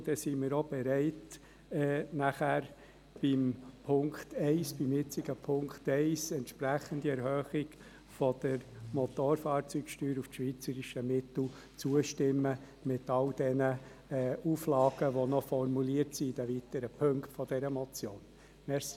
Dann sind wir auch bereit, nachher beim jetzigen Punkt 1 einer entsprechenden Erhöhung der Motorfahrzeugsteuer auf das schweizerische Mittel zuzustimmen, inklusive aller Auflagen, die in den weiteren Punkten dieser Motion formuliert sind.